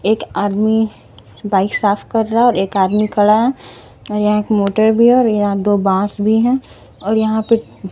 एक आदमी बाइक साफ कर रहा है एक आदमी खड़ा है यहाँ एक मोटर भी है और यहाँ दो बांस भी हैं और यहाँ पे --